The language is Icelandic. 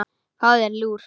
Fáðu þér lúr.